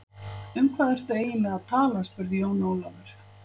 Um hvað ertu eiginlega að tala spurði Jón Ólafur.